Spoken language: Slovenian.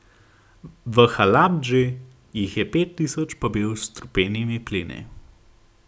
V Halabdži jih je pet tisoč pobil s strupenimi plini.